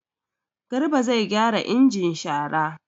Garba zai gyara injin shara.